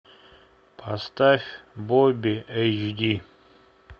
поставь бобби эйч ди